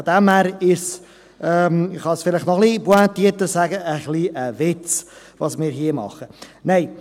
Daher ist das – ich kann es noch etwas pointierter sagen –, was wir hier tun, ein Witz.